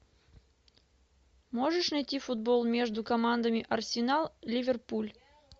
можешь найти футбол между командами арсенал ливерпуль